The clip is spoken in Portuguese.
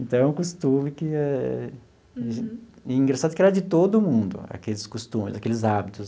Então, é um costume que é engraçado que era de todo mundo, aqueles costumes, aqueles hábitos.